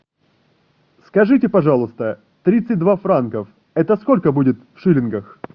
скажите пожалуйста тридцать два франков это сколько будет в шиллингах